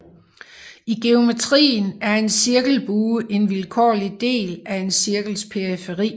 I geometrien er en cirkelbue en vilkårlig del af en cirkels periferi